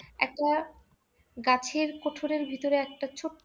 একটা গাছের কোঠরের ভিতরে একটা ছোট্ট